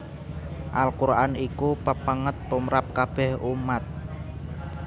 Al Quran iku pepènget tumrap kabèh ummat